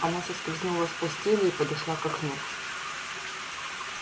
она соскользнула с постели и подошла к окну